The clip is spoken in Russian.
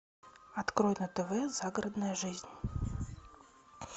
открой на тв загородная жизнь